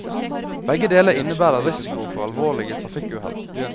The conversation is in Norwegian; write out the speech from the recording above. Begge deler innebærer risiko for alvorlige trafikkuhell.